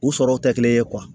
U sɔrɔw tɛ kelen ye